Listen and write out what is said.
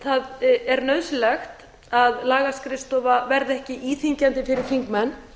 það er nauðsynlegt að lagaskrifstofa verði ekki íþyngjandi fyrir þingmenn